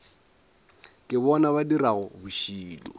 ke bona ba dirago bošilo